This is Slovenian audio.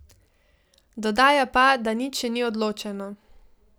Dodaja pa, da nič še ni odločeno.